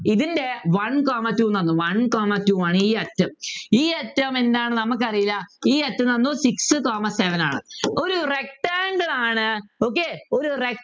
ഇതിൻ്റെ one comma two ന്നു പറഞ്ഞത് one comma two ആണ് ഈ അറ്റം ഈ അറ്റം എന്താണ് നമുക്കറീല ഈ അറ്റം തന്നു six comma seven ആണ് ഒരു rectangle ആണ് okay ഒരു rectangle